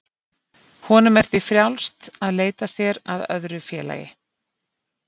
Honum er því frjálst að leita sér að öðru félagi.